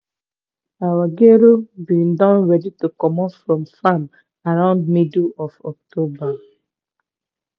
our gero been don ready to comot from from farm around middle of october.